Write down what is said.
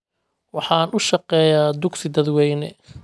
Waxaan u shaqeeyaa dugsi dadweyne